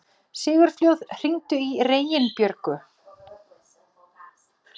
Sigurfljóð, hringdu í Reginbjörgu.